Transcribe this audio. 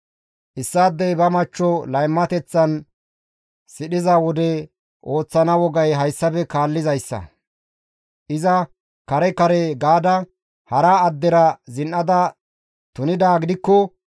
«Issaadey ba machcho laymateththan sidhiza wode ooththana wogay hayssafe kaallizayssa; iza kare kare gaada hara addera zin7ada tunidaa gidikko,